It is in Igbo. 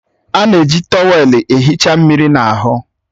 A na-eji trọwèlu ahụ ehicha mmiri n'ahụ